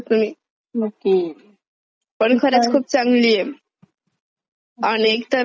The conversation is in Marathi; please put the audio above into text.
पण खरंच खूप चांगलीये. आणि एक तर माझ्या हजबंडला वेबसिरीज पाहायचा नाद आहे.